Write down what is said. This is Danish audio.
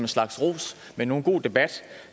slags ros men en god debat